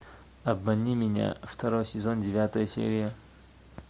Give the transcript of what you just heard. обмани меня второй сезон девятая серия